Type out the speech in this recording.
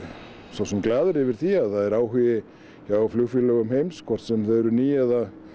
svo sem glaður yfir því að það er áhugi hjá flugfélögum heims hvort sem þau eru ný eða